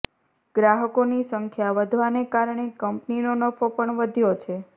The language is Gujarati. ગ્રાહકોની સંખ્યા વધવાને કારણે કંપનીનો નફો પણ વધ્યો છે